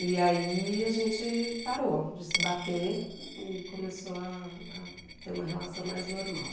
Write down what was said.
E aí a gente parou de se bater e começou a ter uma relação mais normal.